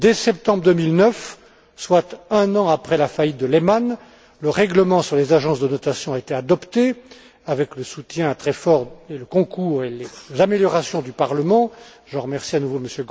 Dès septembre 2009, soit un an après la faillite de Lehman, le règlement sur les agences de notation a été adopté, avec le soutien très fort, le concours et les améliorations du Parlement je remercie à nouveau M.